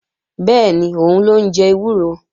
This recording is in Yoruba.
Bẹ́ẹ̀ni, òun ló ń jẹ ewúro